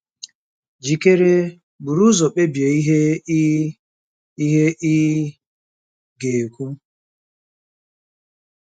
Jikere—buru ụzọ kpebie ihe ị ihe ị ga-ekwu